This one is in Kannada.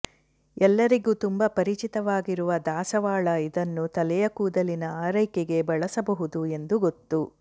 ಎಲ್ಲರಿಗು ತುಂಬಾ ಪರಿಚಿತವಾಗಿರುವ ದಾಸವಾಳ ಇದನ್ನು ತಲೆಯ ಕೂದಲಿನ ಆರೈಕೆಗೆ ಬಳಸಬಹುದು ಎಂದು ಗೊತ್ತು